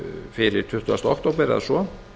fyrir tuttugasta október eða svo